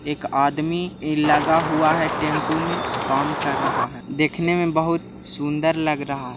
एक आदमी लगा हुआ है टेम्पो में काम कर रहा है देखने में बहुत सुन्दर लग रहा है।